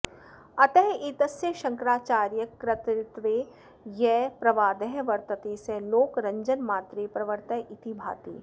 अतः एतस्य शङ्कराचार्यकर्तृत्वे यः प्रवादः वर्तते सः लोकरञ्जनमात्रे प्रवृत्तः इति भाति